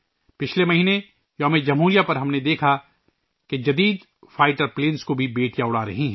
پچھلے مہینے یوم جمہوریہ پر ہم نے دیکھا کہ جدید لڑاکا طیارے بھی بیٹیا اڑا رہی ہیں